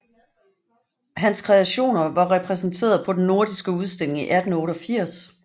Hans kreationer var repræsenteret på den nordiske udstilling i 1888